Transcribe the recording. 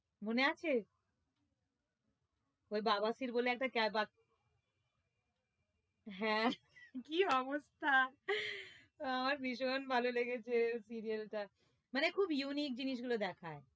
মনে আছে? ওই বাবা খির বলে একটা হ্যাঁ কি অবস্থা আমার ভীষণ ভালো লেগেছে serial টা মানে খুব unique জিনিস গুলো দেখায়